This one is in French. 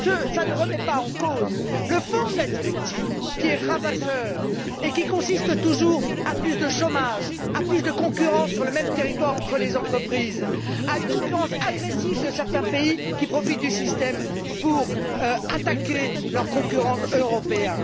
Mais cela ne remet pas en cause le fond de la directive, qui est ravageur et qui entraîne toujours plus de chômage, plus de concurrence sur le même territoire entre les entreprises et une concurrence agressive de certains pays qui profitent du système pour attaquer leurs concurrents européens.